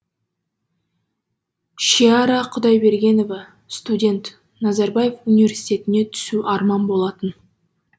шиара құдайбергенова студент назарбаев университетіне түсу арман болатын